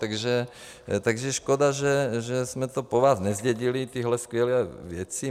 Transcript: Takže škoda, že jsme to po vás nezdědili, tyhle skvělé věci.